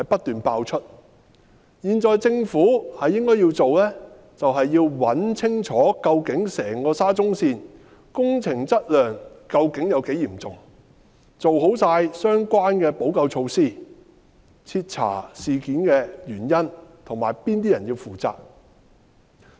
現在政府應該要做的，就是查清楚整個沙中線工程質量問題究竟有多嚴重，做好相關補救措施，徹查事件的原因及哪些人要負責。